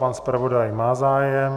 Pan zpravodaj má zájem.